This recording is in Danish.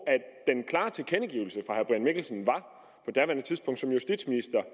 at mikkelsen som justitsminister